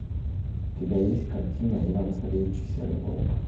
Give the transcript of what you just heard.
у тебя есть картина иван царевич и серый волк